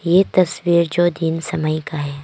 ये तस्वीर जो दिन समय का है।